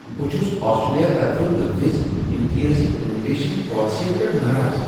بہٕ چھس آسٹریلِیا طرفہٕ نٲفِظ امتیٲزی امیگریشن پالیسین پیٹھ ناراض ۔